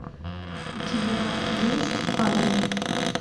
у тебя есть фанни